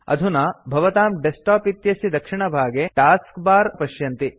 अधुना भवतां डेस्क्टाप इत्यस्य दक्षिणभागे टास्क बार भवन्तः पश्यन्ति